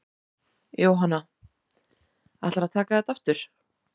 Jóhanna: Ætlarðu að taka þetta aftur?